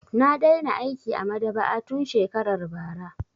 Na daina aiki a maɗaba'a tun shekarar bara.